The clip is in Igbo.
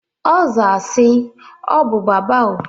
Ọ zaa si, "Ọ bụ Baba o."